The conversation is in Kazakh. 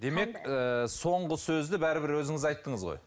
демек ыыы соңғы сөзді бәрібір өзіңіз айттыңыз ғой